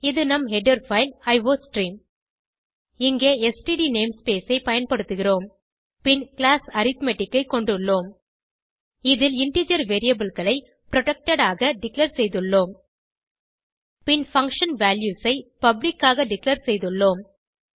இது நம் header file iostream இங்கே ஸ்ட்ட் நேம்ஸ்பேஸ் ஐ பயன்படுத்துகிறோம் பின் கிளாஸ் அரித்மெட்டிக் ஐ கொண்டுள்ளோம் இதில் இன்டிஜர் variableகளை புரொடெக்டட் ஆக டிக்ளேர் செய்துள்ளோம் பின் பங்ஷன் வால்யூஸ் ஐ பப்ளிக் ஆக டிக்ளேர் செய்துள்ளோம்